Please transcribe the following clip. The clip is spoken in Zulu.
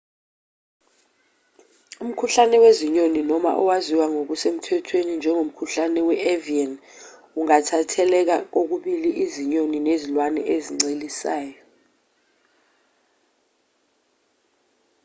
umkhuhlane wezinyoni noma owaziwa ngokusemthethweni njengomkhuhlane we-avian ungatheleleka kokubili izinyoni nezilwane ezincelisayo